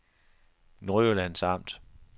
Nordjyllands Amt